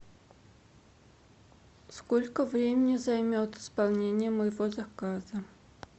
сколько времени займет исполнение моего заказа